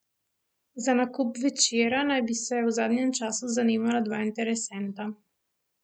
Za nakup Večera naj bi se v zadnjem času zanimala dva interesenta.